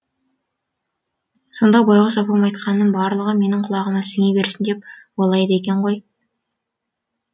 сонда байғұс апам айтқанының барлығы менің құлағыма сіңе берсін деп ойлайды екен ғой